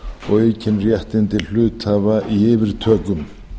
og aukin réttindi hluthafa í yfirtökum